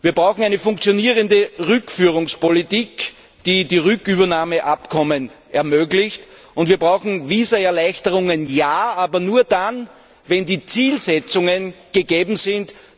Wir brauchen eine funktionierende Rückführungspolitik, die die Rückübernahmeabkommen ermöglicht, und wir brauchen Visaerleichterungen, ja, aber nur dann, wenn die Zielsetzungen gegeben sind.